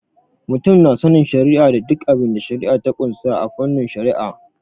Mutum na sanin shari'a da dukkan abinda shari'a ta ƙunsa a fannin Shari'a.